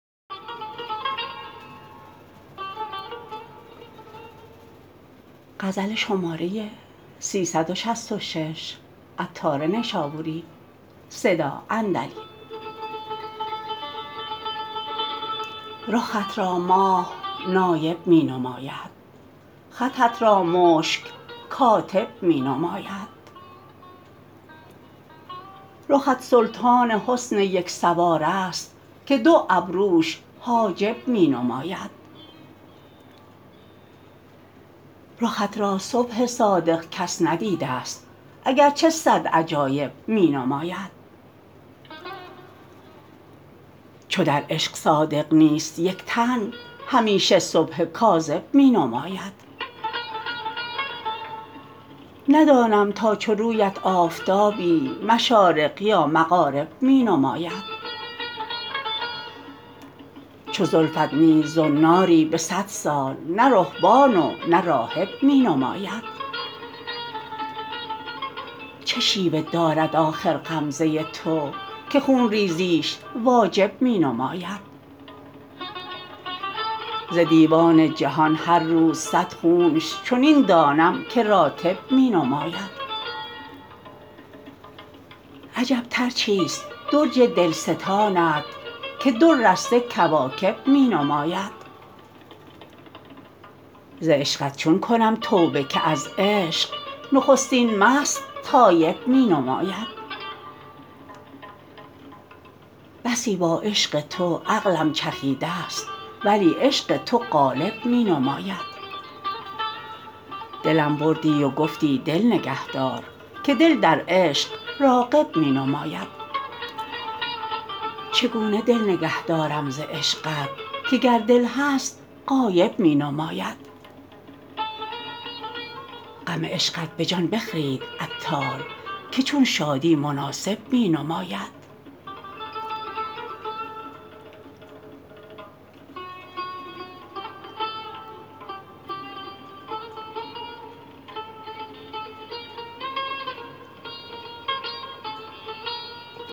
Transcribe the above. رخت را ماه نایب می نماید خطت را مشک کاتب می نماید رخت سلطان حسن یک سوار است که دو ابروش حاجب می نماید رخت را صبح صادق کس ندیده است اگرچه صد عجایب می نماید چو در عشق تو صادق نیست یک تن همیشه صبح کاذب می نماید ندانم تا چو رویت آفتابی مشارق یا مغارب می نماید چو زلفت نیز زناری به صد سال نه رهبان و نه راهب می نماید چه شیوه دارد آخر غمزه تو که خون ریزیش واجب می نماید ز دیوان جهان هر روز صد خونش چنین دانم که راتب می نماید عجب برجی است درج دلستانت که دو رسته کواکب می نماید ز عشقت چون کنم توبه که از عشق نخستین مست تایب می نماید بسی با عشق تو عقلم چخیده است ولی عشق تو غالب می نماید دلم بردی و گفتی دل نگه دار که دل در عشق راغب می نماید چگونه دل نگه دارم ز عشقت که گر دل هست غایب می نماید غم عشقت به جان بخرید عطار که چون شادی مناسب می نماید